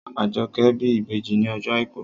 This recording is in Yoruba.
Àjọkẹ́ bí ìbejì ní ọjọ́ àìkú